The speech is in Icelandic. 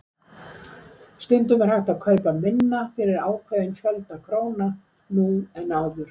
Stundum er hægt að kaupa minna fyrir ákveðinn fjölda króna nú en áður.